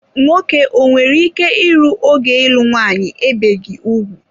Nwoke o nwere ike ịrụ ogo ịlụ nwanyị ebeghi ugwu?